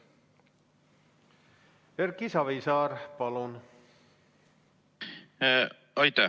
Erki Savisaar, palun!